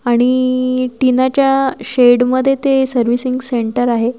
आणि टीना च्या शेड मध्ये ते सर्विसिंग सेंटर आहे.